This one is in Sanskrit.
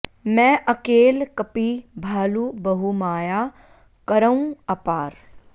मैं अकेल कपि भालु बहु माया करौं अपार